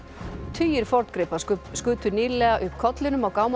tugir forngripa skutu nýlega upp kollinum á